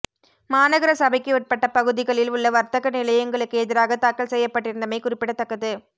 மாநகர சபைக்கு உட்பட்ட பகுதிகளில் உள்ள வர்த்தக நிலையங்களுக்கு எதிராக தாக்கல் செய்யப்பட்டிருந்தமை குறிப்பிடத்தக்கது